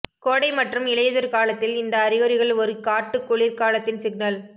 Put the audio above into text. கோடை மற்றும் இலையுதிர் காலத்தில் இந்த அறிகுறிகள் ஒரு காட்டு குளிர்காலத்தின் சிக்னல்